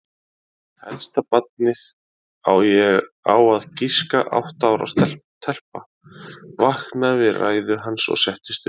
Elsta barnið, á að giska átta ára telpa, vaknaði við ræðu hans og settist upp.